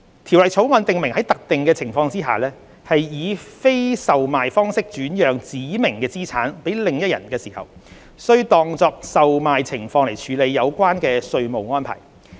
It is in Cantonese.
《條例草案》訂明在特定情況下，非以售賣方式轉讓指明資產予另一人時，須當作售賣情況來處理有關稅務安排。